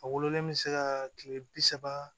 A wololen bɛ se ka kile bi saba